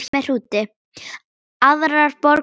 Aðrar borgir eru öllu minni.